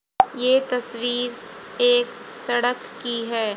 ये तस्वीर एक सड़क की है।